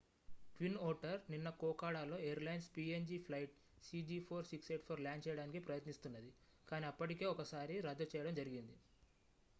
twin otter నిన్న కోకోడాలో airlines png flight cg4684 land చేయడానికి ప్రయత్నిస్తున్నది కాని అప్పటికే ఒకసారి రద్దు చేయడం జరిగింది